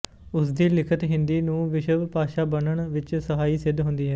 ਉਸਦੀ ਲਿਖਤ ਹਿੰਦੀ ਨੂੰ ਵਿਸ਼ਵ ਭਾਸ਼ਾ ਬਣਨ ਵਿੱਚ ਸਹਾਈ ਸਿੱਧ ਹੁੰਦੀ ਹੈ